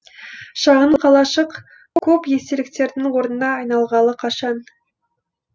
шағын қалашық көп естеліктердің орнына айналғалы қашан